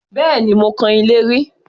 Bẹ́ẹ̀ni, mo kan ilé rí